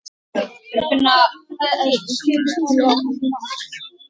Þín Nína.